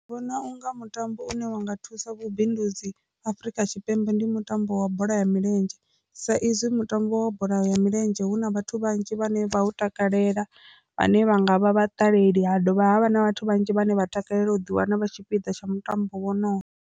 Ndi vhona unga mutambo une wa nga thusa vhubindudzi Afrika Tshipembe ndi mutambo wa bola ya milenzhe sa izwi mutambo wa bola ya milenzhe hu na vhathu vhanzhi vhane vha takalela vhane vha nga vha vha ṱaleli, ha dovha havha na vhathu vhanzhi vhane vha takalela u ḓi wana vha tshipiḓa tsha mutambo wonowo.